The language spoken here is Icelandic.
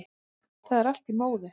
Það er allt í móðu